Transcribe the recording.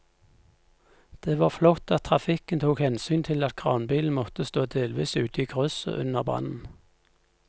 Det var flott at trafikken tok hensyn til at kranbilen måtte stå delvis ute i krysset under brannen.